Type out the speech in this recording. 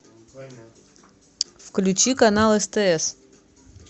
включи канал стс